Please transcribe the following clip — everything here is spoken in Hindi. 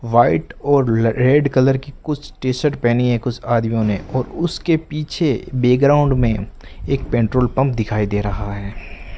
व्हाइट और रेड कलर की कुछ टी शर्ट पहनी है कुछ आदमियों ने और उसके पीछे बेग्राउंड में एक पेट्रोल पंप दिखाई दे रहा है।